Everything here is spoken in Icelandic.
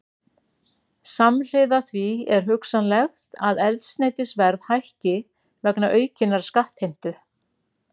Samhliða því er hugsanlegt að eldsneytisverð hækki vegna aukinnar skattheimtu.